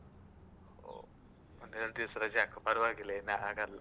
ಹೊ, ಒಂದೆರಡ್ ದಿವ್ಸ ರಜೆ ಹಾಕು ಪರ್ವಾಗಿಲ್ಲ ಏನಾಗಲ್ಲ.